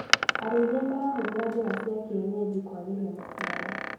Arĩithia marahũthĩra njĩra cia kienyeji kwagĩria maciaro.